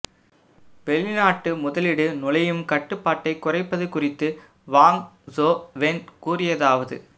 வெளிநாட்டு முதலீடு நுழையும் கட்டுபாட்டைக் குறைப்பது குறித்து வாங் சோ வென் கூறியதாவது